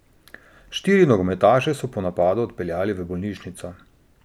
Štiri nogometaše so po napadu odpeljali v bolnišnico.